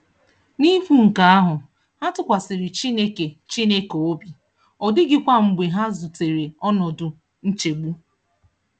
N'ikwu nke ahụ, ha tụkwasịrị Chineke Chineke obi, ọ dịghịkwa mgbe ha zutere ọnọdụ nchegbu.